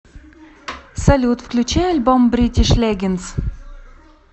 салют включи альбом бритиш легендс